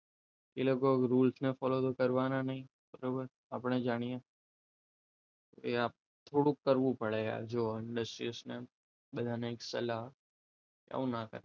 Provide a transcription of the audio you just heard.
એ લોકો rules follow તો કરવાનો નથી બરોબર આપણે જાણીએ એ આપણા થોડું કરવું પડે એ જો understand ને બધાને એક સલાહ એવું ના કરે કરાય